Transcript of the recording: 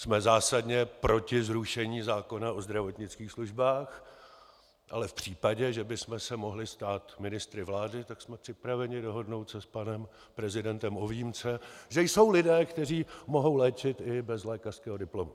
Jsme zásadně proti zrušení zákona o zdravotnických službách, ale v případě, že bychom se mohli stát ministry vlády, tak jsme připraveni dohodnout se s panem prezidentem o výjimce, že jsou lidé, kteří mohou léčit i bez lékařského diplomu.